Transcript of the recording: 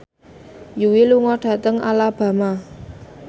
Yui lunga dhateng Alabama